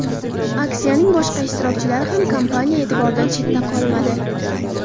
Aksiyaning boshqa ishtirokchilari ham kompaniya e’tiboridan chetda qolmadi.